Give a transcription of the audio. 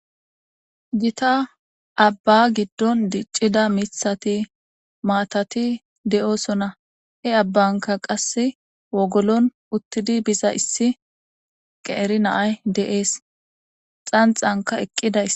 gita abba giddon diccida mithati maatati de7oosona he abbanka qasse wogolon uttidi biza issi qeeri naay deees xanxanka eqqidays